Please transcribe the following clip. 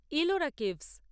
Ellora caves